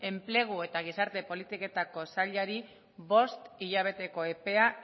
enplegu eta gizarte politiketako sailari bost hilabeteko epea